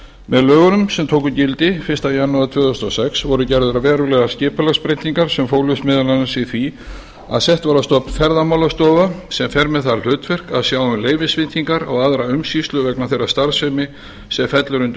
með lögunum sem tóku gildi fyrsta janúar tvö þúsund og sex voru gerðar verulegar skipulagsbreytingar sem fólust meðal annars í því að sett var á stofn ferðamálastofa sem fer með það hlutverk að sjá um leyfisveitingar og aðra umsýslu vegna þeirrar starfsemi sem fellur undir lögin